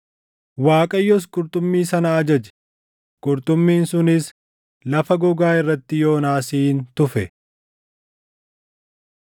Waaqayyos qurxummii sana ajaje; qurxummiin sunis lafa gogaa irratti Yoonaasin tufe.